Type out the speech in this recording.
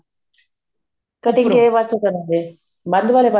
cutting ਕਿਹੜੇ ਪਾਸੇ ਕਰੋਗੇ ਬੰਦ ਵਾਲੇ